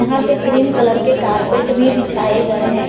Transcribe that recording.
यहां पे green colour के कारपेट भी बिछाए गए हैं।